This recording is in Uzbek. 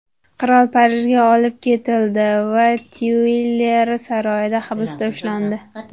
Qirol Parijga olib ketildi va Tyuilri saroyida hibsda ushlandi.